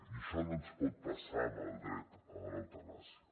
i això no ens pot passar amb el dret a l’eutanàsia